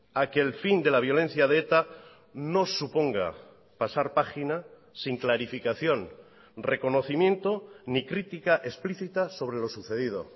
a que el fin de la violencia de eta no suponga pasar página sin clarificación reconocimiento ni crítica explícita sobre lo sucedido